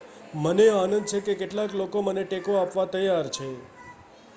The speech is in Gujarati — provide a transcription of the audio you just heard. મને આનંદ છે કે કેટલાક લોકો મને ટેકો આપવા તૈયાર છે